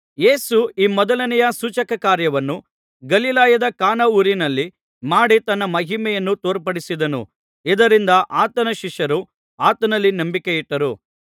ಯೇಸು ಈ ಮೊದಲನೆಯ ಸೂಚಕ ಕಾರ್ಯವನ್ನು ಗಲಿಲಾಯದ ಕಾನಾ ಊರಿನಲ್ಲಿ ಮಾಡಿ ತನ್ನ ಮಹಿಮೆಯನ್ನು ತೋರ್ಪಡಿಸಿದನು ಇದರಿಂದ ಆತನ ಶಿಷ್ಯರು ಆತನಲ್ಲಿ ನಂಬಿಕೆಯಿಟ್ಟರು